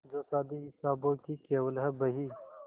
जो शादी हिसाबों की केवल है बही